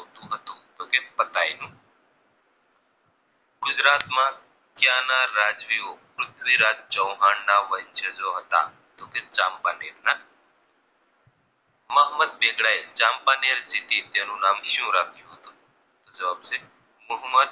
ગુજરાત માં કયા ના રાજ્વીઓ પૃથ્વીરાજ ચૌહાણ ના વંશજો હતા તો કે ચાંપાનેર ના મોહમદ બેગડા એ ચાંપાનેર સ્થીધીયા નામ શુ રાખ્યું તો જવાબ છે મોહમદ